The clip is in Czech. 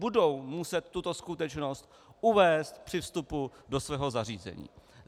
Budou muset tuto skutečnost uvést při vstupu do svého zařízení.